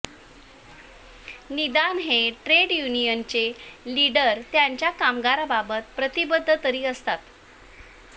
निदान हे ट्रेड युनियनचे लिडर त्यांच्या कामगारांबाबत प्रतिबद्ध तरी असतात